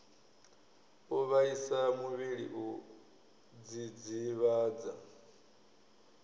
u vhaisa muvhili u dzidzivhadza